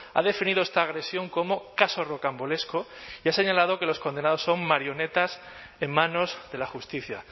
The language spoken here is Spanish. ha definido esta agresión como caso rocambolesco y ha señalado que los condenados son marionetas en manos de la justicia